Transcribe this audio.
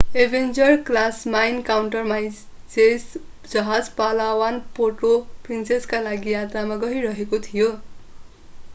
Avenger class mine countermeasures जहाज Palawan Puerto प्रिन्सेसाका लागि यात्रामा गइरहेको थियो